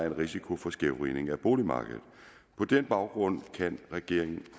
en risiko for skævvridning af boligmarkedet på den baggrunden kan regeringen